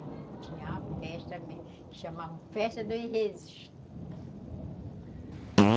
Tinha uma festa que chamavam Festa dos Rezes.